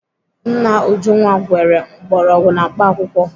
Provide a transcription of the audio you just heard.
Nna Ujunwa gwere mgbọrọgwụ na mkpaakwụkwọ.